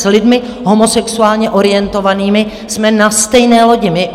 s lidmi homosexuálně orientovanými, jsme na stejné lodi.